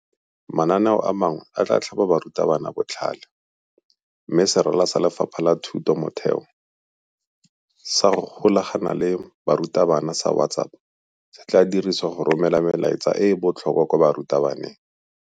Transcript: Mananeo a mangwe a tla tlhaba barutabana botlhale mme serala sa Lefapha la Thuto ya Motheo sa go Golagana le Barutabana sa WhatsApp se tla dirisiwa go romela melaetsa e e botlhokwa kwa barutabaneng.